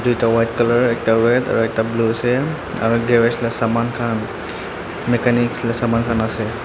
tuita white color ekta red aro ekta blue ase aro garage la saman kan mechanics la saman kan ase.